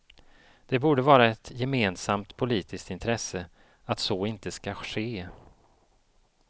Det borde vara ett gemensamt politiskt intresse att så inte skall ske.